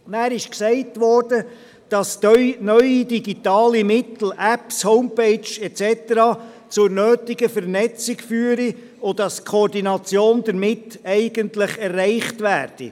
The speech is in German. Weiter wurde gesagt, dass neue digitale Mittel – Apps, Homepages et cetera – zur nötigen Vernetzung führten und dass die Koordination damit eigentlich erreicht werde.